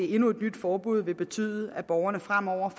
endnu et nyt forbud vil betyde at borgerne fremover